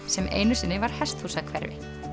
sem einu sinni var hesthúsahverfi